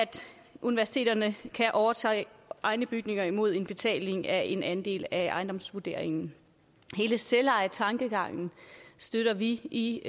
universiteterne kan overtage egne bygninger mod en betaling i form af en andel af ejendomsvurderingen hele selvejetankegangen støtter vi i